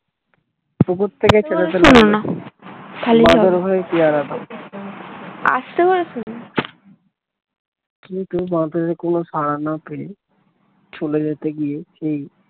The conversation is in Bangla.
উপর থেকে বাঁদর হয়ে পেয়ারা কিন্তু বাঁদরের কোন সাড়া না পেয়ে চলে যেতে গিয়ে সেই